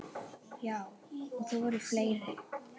Já, og það voru fleiri.